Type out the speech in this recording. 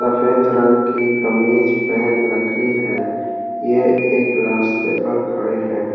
सफ़ेद रंग की कमीज पहन राखी है ये एक रास्ते पर खड़े हैं।